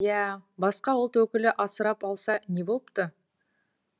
иа басқа ұлт өкілі асырап алса не болыпты